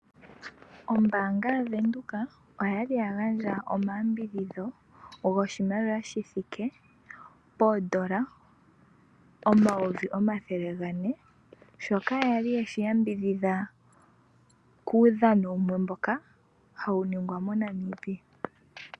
Ombaanga yaVenduka okwali yagandje omayambidhidho goshimaliwa shithike poondola omayovi omathele gane ,shoka yali yeahi yambidhidha kuudhano wumwe mboka hawu ningwa moNamibia .